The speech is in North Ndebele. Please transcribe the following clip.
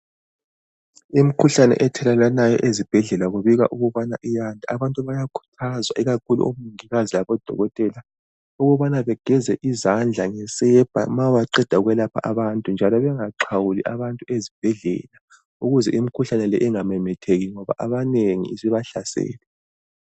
Imikhuhlane ethelelwanayo ezibhedlela kubikwa ukubana iyanda.. Abantu bayakhuthazwa, ikakhulu omongikazi labodokotela, ukubana bageze izandla ngesepa, ma beqeda ukwelapha abantu njalo bengaxhawuli abantu ezibhedlela, ukuze imikhuhlane le ingamemetheki, ngoba abanengi, isibahlasele.